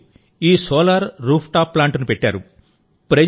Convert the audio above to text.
మీరు ఈ solar rooftop ప్లాంట్ను పెట్టారు